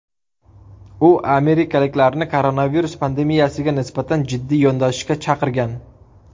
U amerikaliklarni koronavirus pandemiyasiga nisbatan jiddiy yondashishga chaqirgan.